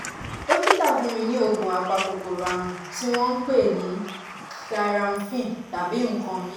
dókítà fún mi ní oògùn apakòkòrò ààrùn tí wọ́n ń pè ní cs] clyramphin tàbí nǹkan míì